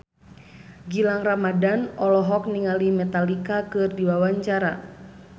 Gilang Ramadan olohok ningali Metallica keur diwawancara